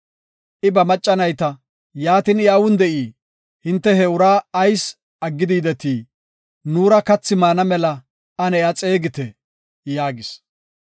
I ba macca nayta, “Yaatin I awun de7ii? Hinte he ura ayis aggidi yidetii? Nuura kathi maana mela ane iya xeegite” yaagis.